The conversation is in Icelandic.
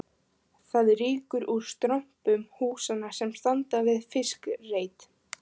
Það rýkur úr strompum húsanna sem standa við fiskreit